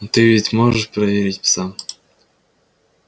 но ты ведь можешь проверить сам